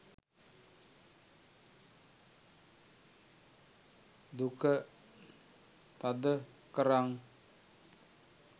duka thada karan